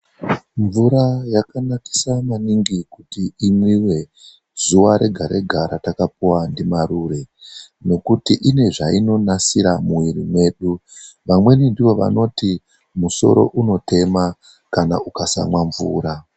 MVURA YAKANAKISA MANINGI KUTI IMWIWE ZUWA REGA REGA RATAKAPUWA NDIMARURE NEKUTI INE ZVAINONASIRA MUMWIRI MEDU. VAMWEMI NDIVO VANOTI MUSORO UNOTEMA KANA UKASAMWA MVURA.